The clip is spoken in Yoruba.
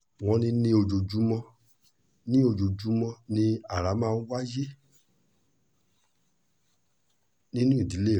wọ́n ní ojoojúmọ́ ni ojoojúmọ́ ni ara máa ń wáyé nínú ìdílé rẹ̀